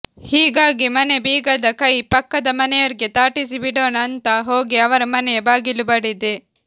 ಹೀಗಾಗಿ ಮನೆ ಬೀಗದ ಕೈ ಪಕ್ಕದ ಮನೆಯವರಿಗೆ ದಾಟಿಸಿಬಿಡೋಣ ಅಂತ ಹೋಗಿ ಅವರ ಮನೆಯ ಬಾಗಿಲು ಬಡಿದೆ